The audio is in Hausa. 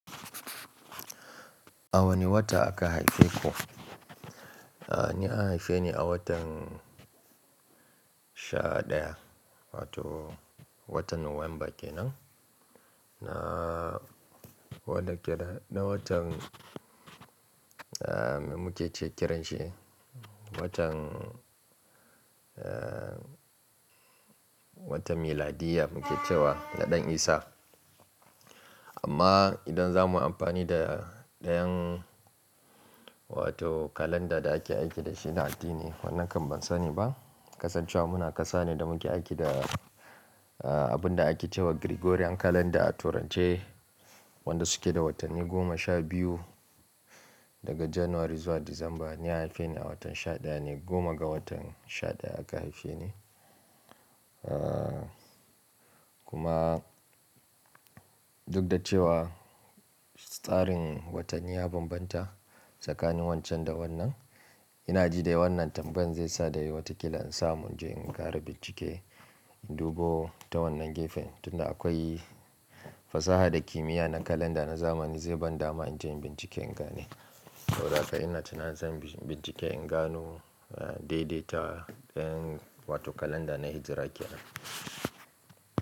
A wane wata aka haife ku? Ni an haife ni a watan sha ɗaya wato watan November kenan. Na wanda ke da na watan muke kiran shi dai watan, watan miladiyya muke cewa na Ɗan Isa. Amma idan za mu yi amfani da ɗayan wato kalanda da ake aiki da shi na addini, wannan kam ban sani ba. Kasancewa muna ƙasa ne da muke aiki da abun da ake cewa Gregorian calender a turance, wanda suke da watanni goma sha biyu daga January zuwa December. Ni an haife ni a watan sha ɗaya ne, goma ga watan sha ɗaya aka haife ni. Kuma duk da cewa tsarin watanni ya bambanta tsakanin wancan da wannan, ina ji da wannan tambayar zai sa dai wataƙila in samu in je in ƙara bincike in dubo ta wannan gefen. Tun da akwai fasaha da kimiyya na calendar na zamani zai ban dama in je in bincike in gane. Saboda haka ina tuna zan bincike in gano daidaitawa ɗayan wato kalanda na Hijra kenan.